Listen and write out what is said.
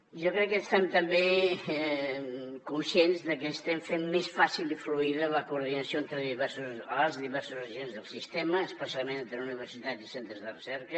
jo crec que som també conscients de que estem fent més fàcil i fluida la coordinació entre els diversos agents del sistema especialment entre universitats i centres de recerca